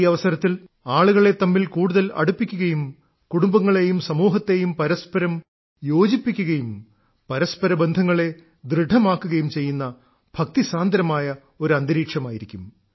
ഈ അവസരത്തിൽ ആളുകളെ തമ്മിൽ കൂടുതൽ അടുപ്പിക്കുകയും കുടുംബങ്ങളേയും സമൂഹത്തെയും പരസ്പരം യോജിപ്പിക്കുകയും പരസ്പര ബന്ധങ്ങളെ ദൃഢമാക്കുകയും ചെയ്യുന്ന ഭക്തിസാന്ദ്രമായ ഒരന്തരീക്ഷമായിരിക്കും